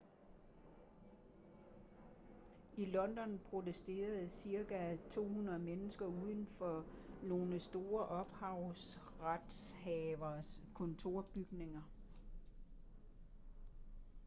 i london protesterede cirka 200 mennesker uden for nogle store ophavsretshaveres kontorbygninger